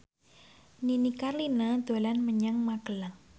Nini Carlina dolan menyang Magelang